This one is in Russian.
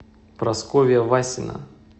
прасковья васина